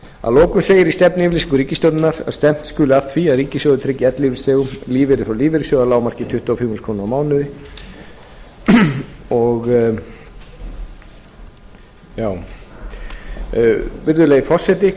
að lokum segir í stefnuyfirlýsingu ríkisstjórnarinnar að stefnt skuli að því að ríkissjóður tryggi ellilífeyrisþegum lífeyri frá lífeyrissjóði að lágmarki tuttugu og fimm þúsund krónur á mánuði virðulegi forseti